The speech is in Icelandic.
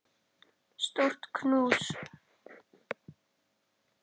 Stórt knús.